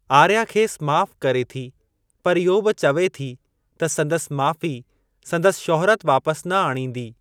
आर्या खेसि माफ़ करे थी पर इहो बि चवे थी त संदसि माफ़ी संदसि शुहिरत वापसि न आणींदी।